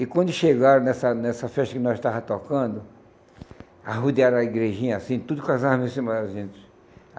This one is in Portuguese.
E quando chegaram nessa nessa festa que nós estávamos tocando, arrodearam a igrejinha assim, tudo com as armas em cima da gente.